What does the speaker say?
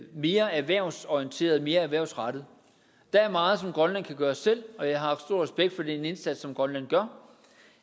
mere erhvervsorienteret mere erhvervsrettet der er meget som grønland kan gøre selv og jeg har stor respekt for den indsats som grønland gør